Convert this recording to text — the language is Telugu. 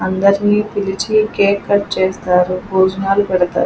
అందరినీ పిలిచి కేక్ కట్ చేస్తారు భోజనాలు పెడుతారు.